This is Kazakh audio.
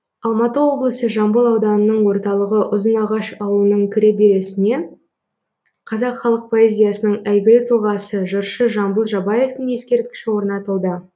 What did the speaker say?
алматы облысы жамбыл ауданының орталығы ұзынағаш ауылының кіреберісіне қазақ халық поэзиясының әйгілі тұлғасы жыршы жамбыл жабаевтың ескерткіші орнатылды